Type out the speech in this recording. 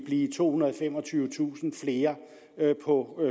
blive tohundrede og femogtyvetusind flere på